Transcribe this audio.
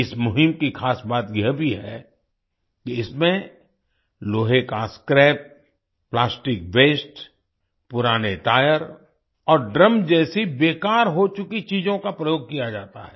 इस मुहिम की ख़ास बात यह भी है कि इसमें लोहे का स्क्रैप प्लास्टिक वास्ते पुराने टायर और ड्रम जैसी बेकार हो चुकी चीजों का प्रयोग किया जाता है